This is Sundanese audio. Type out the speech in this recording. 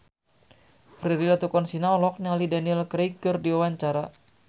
Prilly Latuconsina olohok ningali Daniel Craig keur diwawancara